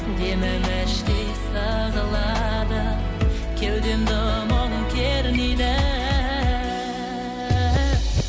демім іштей сығылады кеудемді мұң кернейді